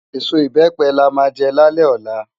Esó ibèpè lá má jè lálè òlá